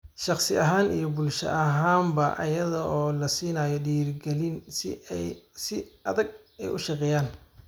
shakhsi ahaan iyo bulsho ahaanba iyada oo la siinayo dhiirigelin si ay si adag u shaqeeyaan.